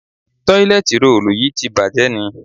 Tọ́ílẹ́tìì rolù yí ti bàjé ni?